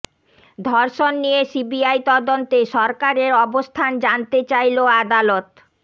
ধর্ষণ নিয়ে সিবিআই তদন্তে সরকারের অবস্থান জানতে চাইলো আদালত